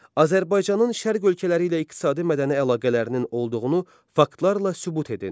Azərbaycanın Şərq ölkələri ilə iqtisadi-mədəni əlaqələrinin olduğunu faktlarla sübut edin.